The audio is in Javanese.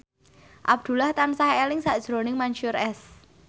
Abdullah tansah eling sakjroning Mansyur S